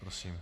Prosím.